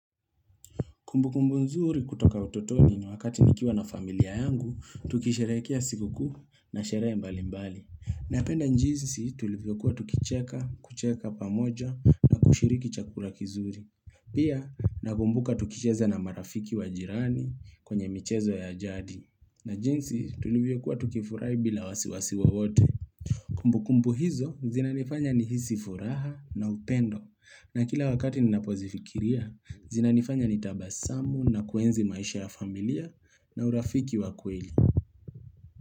Kumbu kumbu nzuri kutoka utotoni ni wakati nikiwa na familia yangu, tukisherehekea sikukuu na sherehe mbali mbali. Na penda njinsi tulivyokuwa tukicheka, kucheka pamoja na kushiriki chakura kizuri. Pia, nakumbuka tukicheza na marafiki wajirani kwenye michezo ya ajadi. Na jinsi tulivyokuwa tukifurahi bila wasiwasi wo wote. Kumbu kumbu hizo zina nifanya ni hisi furaha na upendo na kila wakati nina pozifikiria zina nifanya ni tabasamu na kuenzi maisha ya familia na urafiki wa kweli.